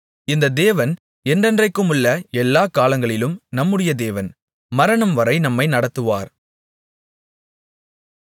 இந்த தேவன் என்றென்றைக்குமுள்ள எல்லா காலங்களிலும் நம்முடைய தேவன் மரணம்வரை நம்மை நடத்துவார்